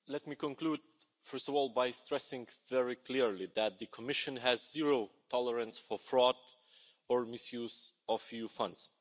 Mr President, let me conclude first of all by stressing very clearly that the Commission has zero tolerance for fraud or misuse of EU funds.